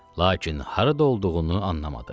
Lakin harada olduğunu anlamadı.